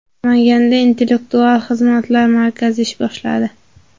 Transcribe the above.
Namanganda Intellektual xizmatlar markazi ish boshladi.